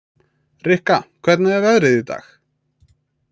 Rikka, hvernig er veðrið í dag?